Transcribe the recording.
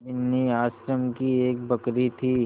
बिन्नी आश्रम की एक बकरी थी